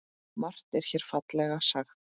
Margt er hér fallega sagt.